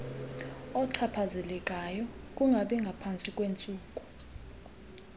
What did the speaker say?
ochaphazelekayo kungabingaphantsi kweentsuku